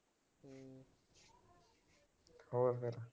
ਹੋਰ ਫਿਰ।